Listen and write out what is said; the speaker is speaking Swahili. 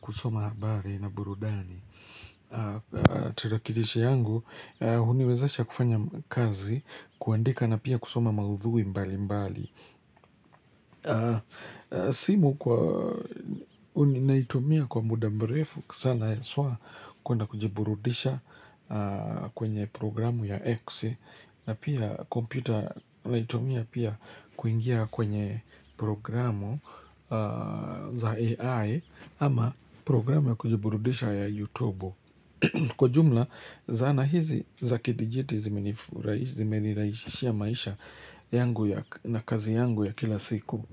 kusoma habari na burudani. Tarakilishi yangu, huniwezesha kufanya kazi, kuandika na pia kusoma maudhui mbali mbali. Simu kwa, uni naitumia kwa muda mrefu, kusana haswa, kuenda kujiburudisha kwenye programu ya X na pia kompyuta naitumia pia kuingia kwenye programu za AI ama programu ya kujiburudisha ya YouTubu, kwa jumla zana hizi za kidijiti zimenirahisishia maisha yangu ya na kazi yangu ya kila siku.